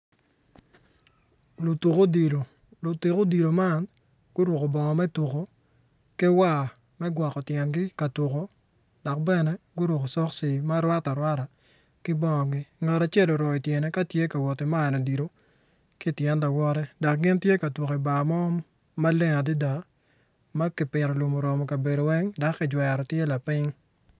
Lutuk odilo man guruko bongo me tuko ki war me tuko odilo dok bene guruko cokci marwatte arwata i tyengi. Ngat acel tye ka wot ki mayo odilo ki i tyen lawote tye ka tuko i bar mo maleng adada ma kipito lum oroko kabedo weng dok tye maleng adada.